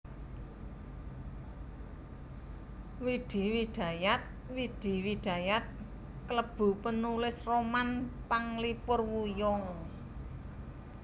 Widi Widajat Widi Widayat klebu penulis roman panglipur wuyung